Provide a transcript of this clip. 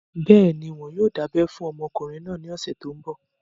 Bẹ́ẹ̀ni, wọn yóò dábẹ́ fún ọmọkùnrin náà ní ọ̀sẹ̀ tó n bọ̀